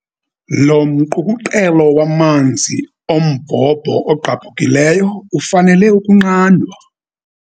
Lo mqukuqelo wamanzi ombhobho ogqabhukileyo ufanele ukunqandwa.